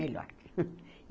Melhor. Hunf